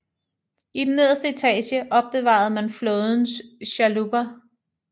I den nederste etage opbevarede man flådens chalupper